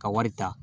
Ka wari ta